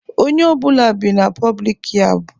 Ọnye ọbụna bị na pọblik yab.